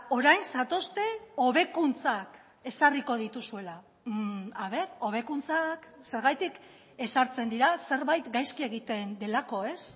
orain zatozte hobekuntzak ezarriko dituzuela a ver hobekuntzak zergatik ezartzen dira zerbait gaizki egiten delako ez